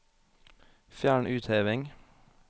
Fjern utheving